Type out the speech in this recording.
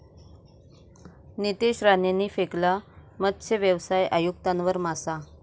नितेश राणेंनी फेकला मत्सव्यवसाय आयुक्तांवर मासा